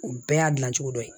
O bɛɛ y'a dilan cogo dɔ ye